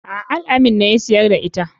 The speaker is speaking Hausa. A'a al-amin ne ya siyar da ita.